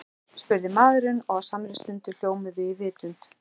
spurði maðurinn og á samri stundu hljómuðu í vitund